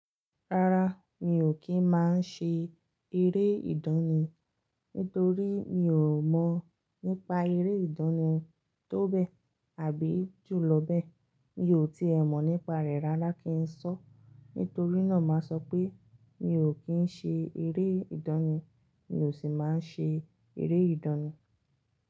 Rárá, mi ò kí ń má ṣe eré ìdánì. Nítorí mi ò mọ̀ nípa eré ìdánì tó bẹ́ẹ̀ àbí jùlọ bẹ́ẹ̀. Mi ò tíì ẹ mọ̀ nípa rẹ̀ rárá kí n sọ́. Nítorí náà má sọ pé mi ò kí ń ṣe eré ìdánì. Mi ò sì máa ń ṣe eré ìdánì.